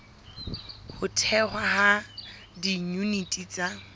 ho thehwa ha diyuniti tsa